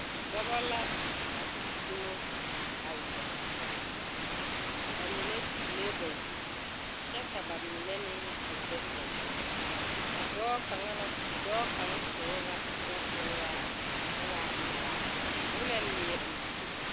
Dɔbɔ la a gbidumo a zeŋ ba mine kyulee ba zu kyɛ ka ba mine meŋ a zɛge ba zu a dɔɔ kaŋa na dɔɔ kaŋ toori la nɔtoora koo waa pelaa koo la leɛ o zu.